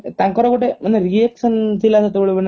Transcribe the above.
ତାଙ୍କର ଗୋଟେ ମାନେ reaction ଥିଲା ମାନେ ଅଲଗା